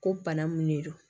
Ko bana mun de don